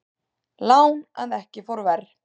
Lán að ekki fór ver